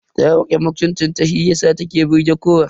Ta rike mutuncin ta shiyasa ta ke burge kowa.